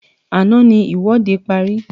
Àná ní ìwọ́de parí